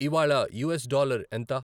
ఇవ్వాళ US dollar ఎంత